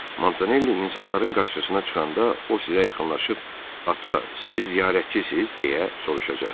Montanelli insanların qarşısına çıxanda o sizə yaxınlaşıb ata, siz ziyarətçisiz, deyə soruşacaq.